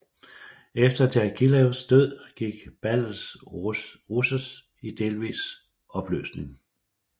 Efter Djagilevs død gik Ballets Russes i delvis opløsning